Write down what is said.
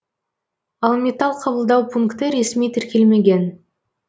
ал металл қабылдау пункті ресми тіркелмеген